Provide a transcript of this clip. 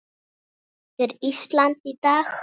Þetta er Ísland í dag.